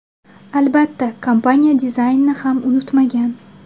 Albatta, kompaniya dizaynni ham unutmagan.